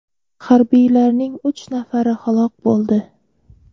Harbiylarning uch nafari halok bo‘ldi.